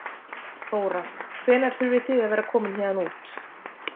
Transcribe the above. Þóra: Hvenær þurfið þið að vera komin héðan út?